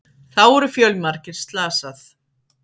Þá eru fjölmargir slasað